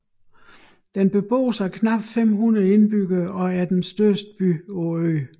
Den beboes af knap 500 indbyggere og er den største by på øen